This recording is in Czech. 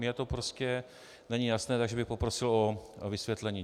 Mně to prostě není jasné, takže bych poprosil o vysvětlení.